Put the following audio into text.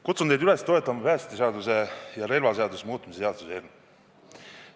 Kutsun teid üles toetama päästeseaduse ja relvaseaduse muutmise seaduse eelnõu.